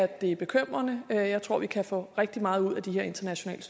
det er bekymrende jeg tror vi kan få rigtig meget ud af de her internationale